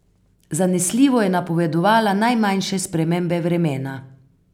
Zanesljivo je napovedovala najmanjše spremembe vremena.